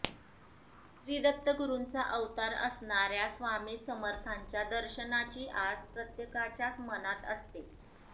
श्री दत्तगुरुंचा अवतार असणाऱ्या स्वामी समर्थांच्या दर्शनाची आस प्रत्येकाच्याच मनात असते